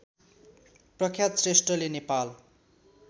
प्रख्यात श्रेष्ठले नेपाल